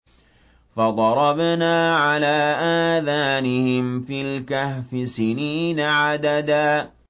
فَضَرَبْنَا عَلَىٰ آذَانِهِمْ فِي الْكَهْفِ سِنِينَ عَدَدًا